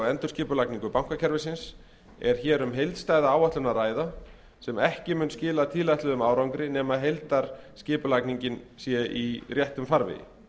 endurskipulagningu bankakerfisins er hér um heildstæða áætlun að ræða sem ekki mun skila tilætluðum árangri nema heildarskipulagningin sé í réttum farvegi